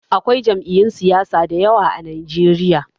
Akwai jam'iyun siyasa da yawa a Najeriya.